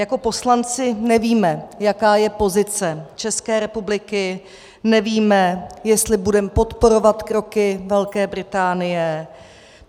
Jako poslanci nevíme, jaká je pozice České republiky, nevíme, jestli budeme podporovat kroky Velké Británie.